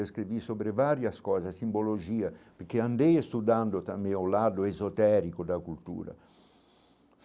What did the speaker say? Escrevi sobre várias coisas, simbologia, porque andei estudando também ao lado esotérico da cultura.